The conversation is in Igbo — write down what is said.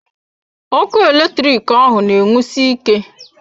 Ọkụ eletrik ahụ na enwusi ike.